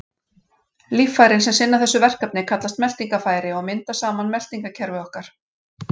Líffærin sem sinna þessu verkefni kallast meltingarfæri og mynda saman meltingarkerfi okkar.